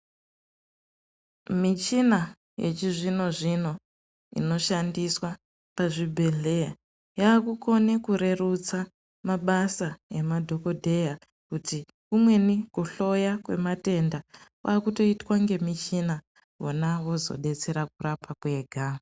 Michina yechizvino zvino inoshandiswa pazvibhedhlera yavakukhona kurerutsa mabasa madhokodheya kuti kumweni kuhloya kwematenda kwava kuitotwa ne muchina vona vozodetsera nekurapa kwega.